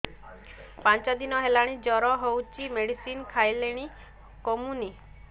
ପାଞ୍ଚ ଦିନ ହେଲାଣି ଜର ହଉଚି ମେଡିସିନ ଖାଇଲିଣି କମୁନି